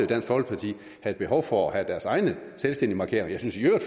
dansk folkeparti have behov for at have deres egne selvstændige markeringer jeg synes i øvrigt